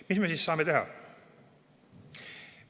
Mis me siis saame teha?